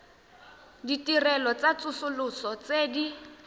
ditirelo tsa tsosoloso tse di